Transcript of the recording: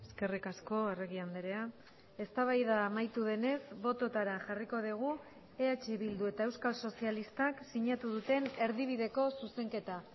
eskerrik asko arregi andrea eztabaida amaitu denez bototara jarriko dugu eh bildu eta euskal sozialistak sinatu duten erdibideko zuzenketa